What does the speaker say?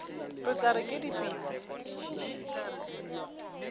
re tla re ke dipitsi